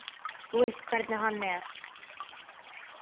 Þú veist hvernig hann er.